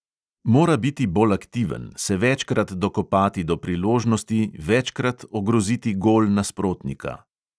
Mora biti bolj aktiven, se večkrat dokopati do priložnosti, večkrat ogroziti gol nasprotnika.